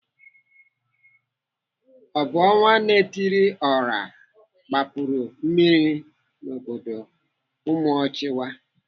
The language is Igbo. Ọ bụ ọnwa-na-etiri-ọha gbapuru mmiri n'obodo Umuochiwa?